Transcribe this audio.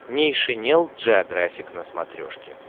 нейшенел джеографик на смотрешке